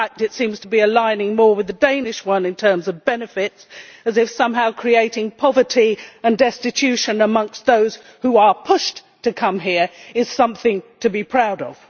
In fact, it seems to be aligning itself more with the Danish one in relation to the matter of benefits as if, somehow, creating poverty and destitution among those who are pushed to come here is something to be proud of.